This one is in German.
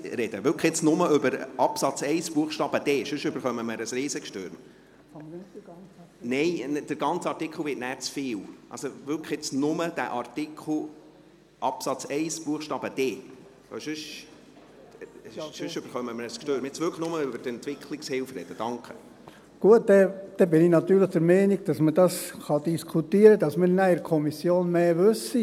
Sie haben ja noch einen weiteren Antrag in diesem Artikel, in dem es dann um den Tourismus geht, darum wäre ich … Gut, dann bin ich natürlich der Meinung, dass man das diskutieren kann, damit man nachher in der Kommission mehr weiss.